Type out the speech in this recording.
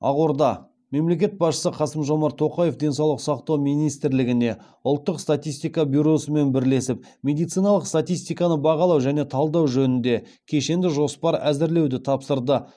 ақорда мемлекет басшысы қасым жомарт тоқаев денсаулық сақтау министрлігіне ұлттық статистика бюросымен бірлесіп медициналық статистиканы бағалау және талдау жөнінде кешенді жоспар әзірлеуді тапсырды